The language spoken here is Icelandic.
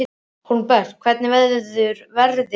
Hólmbert, hvernig verður veðrið á morgun?